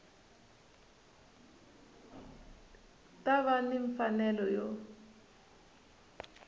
ta va ni mfanelo yo